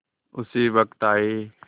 उसी वक्त आये